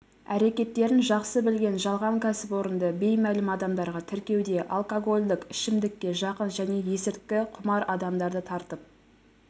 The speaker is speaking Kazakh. әрекеттерін жақсы білген жалған кәсіпорынды беймәлім адамдарға тіркеуде алкогольдік ішімдікке жақын және есірткіқұмар адамдарды тартып